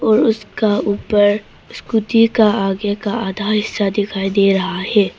और उसका ऊपर स्कूटी का आगे का आधा हिस्सा दिखाई दे रहा है।